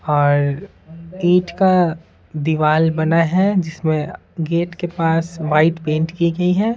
और ईंट का दीवाल बना है जिसमें गेट के पास वाइट पेंट की गई है।